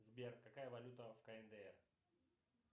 сбер какая валюта в кндр